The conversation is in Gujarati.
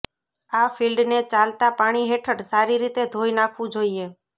આ ફિલ્ડને ચાલતા પાણી હેઠળ સારી રીતે ધોઈ નાખવું જોઈએ